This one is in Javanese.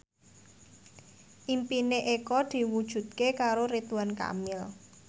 impine Eko diwujudke karo Ridwan Kamil